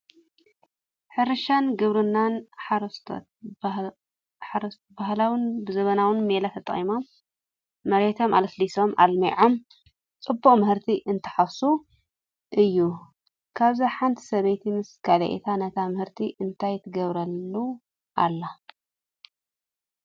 ሕርሻን ግብርናን፡- ሓረስቶት ብባህላውን ብዘበናውን ሜላ ተጠቒሞም መሬቶም ኣለሳሊሶምን ኣልሚዖምን ፅቡቕ ምህርቲ እንትሓፍሱ እዩ፡፡ ካብዚ ሓንቲ ሰብይቲ ምስ ካለኤየታ ነቲ ምህርቲ እንታይ ትገብረሉ ኣላ?